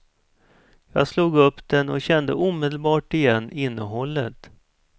Jag slog upp den och kände omedelbart igen innehållet.